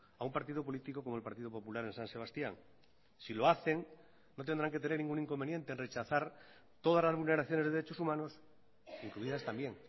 a un partido político como el partido popular en san sebastián si lo hacen no tendrán que tener ningún inconveniente en rechazar todas las vulneraciones de derechos humanos incluidas también